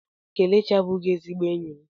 Kelechi abụchaghị ezigbo enyi m.